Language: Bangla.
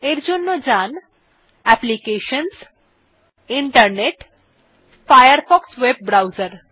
এর জন্য যাওয়া যাক applications জিটি internet জিটি ফায়ারফক্স ভেব ব্রাউসের